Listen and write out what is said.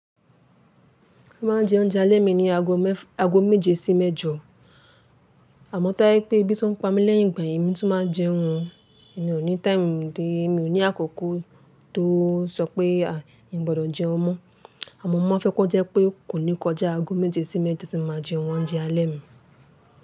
Mo máa ń jẹ oúnjẹ alẹ́ mi ní ago méje sí mẹ́jọ. Àmọ́ táí pé ebí tuń pa mí lẹ́yìn ìgbà yen, èmi tún máa jẹun o. Èmi ò ní time dé, mi ò ní àkókó tó sọ pé, a n gbọdọ̀ jẹun mọ́. Àmọ́ mo máa fẹ́ kọ́ jẹ́ pé kò ní kọjá ago méje sí mẹ́jọ tí mo máa jẹ oúnjẹ alẹ́ mi.